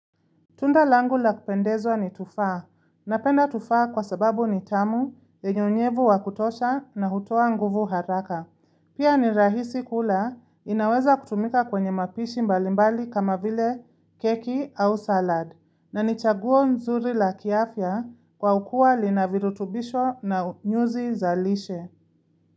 Tunda langu la kupendezwa ni tufaha. Napenda tufaha kwa sababu ni tamu, lenye unyevu wa kutosha na hutoa nguvu haraka. Pia ni rahisi kula, inaweza kutumika kwenye mapishi mbalimbali kama vile keki au salad. Na ni chaguo nzuri la kiafya kwa kuwa lina virutubisho na nyuzi za lishe.